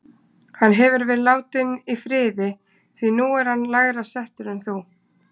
Hann hefur verið látinn í friði, því nú er hann lægra settur en þú